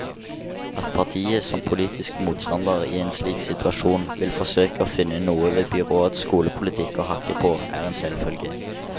At partiet som politisk motstander i en slik situasjon vil forsøke å finne noe ved byrådets skolepolitikk å hakke på, er en selvfølge.